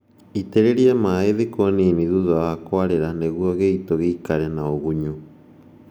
Itĩrĩria maĩĩ thikũ nini thutha wa kũarĩra nĩguo gĩito gĩikare na ũgunyu